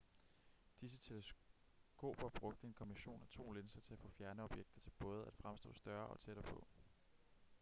disse teleskoper brugte en kombination af to linser til at få fjerne objekter til både at fremstå større og tættere på